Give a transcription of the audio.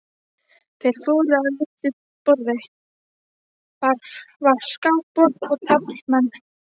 Þeir fóru að litlu borði, þar var skákborð og taflmenn.